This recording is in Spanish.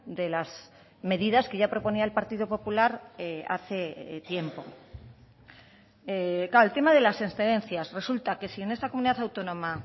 de las medidas que ya proponía el partido popular hace tiempo claro el tema de las excedencias resulta que si en esta comunidad autónoma